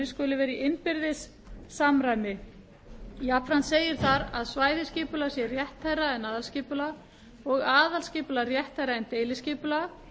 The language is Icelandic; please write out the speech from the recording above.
skuli vera í innbyrðis samræmi jafnframt segir þar að svæðisskipulag sé rétthærra en aðalskipulag og aðalskipulag rétthærra en deiliskipulag